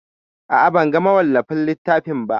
A'a, ban ga mawallafin littafin ba.